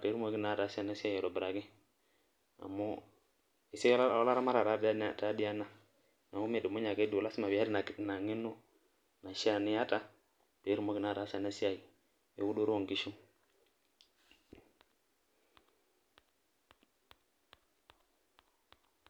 pe etumoki naa ataasa ena siai aitobiraki, amu esiai oolaamatak taa dii ena, neeku midumunye ake duo, lasima pee iyata ina ngeno. kishaa niyata, pee itumoki naa ataasa ena siai, eudoto oo nkishu..